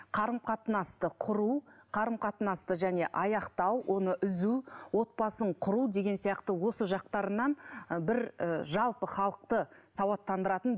қарым қатынасты құру қарым қатынасты және аяқтау оны үзу отбасын құру деген сияқты осы жақтарынан ы бір ы жалпы халықты сауаттандыратын